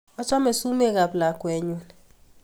Achame sumek ap lakwennyu